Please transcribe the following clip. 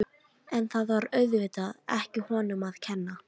En það var auðvitað ekki honum að kenna.